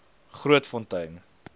grootfontein